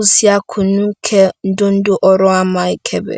usiakusụn̄ ke ndondo oro ama ekebe.